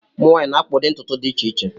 Ụmụ nwanyị na-akpa ụdị ntutu dị iche iche.